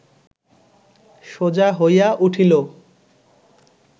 সোজা হইয়া উঠিল